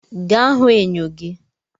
Ga hụ enyo gi!